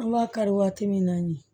An b'a kari waati min na ɲin